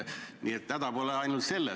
Nii et häda pole ainult selles.